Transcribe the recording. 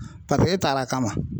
Paseke e ta la a kama.